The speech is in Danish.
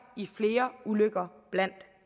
i flere ulykker blandt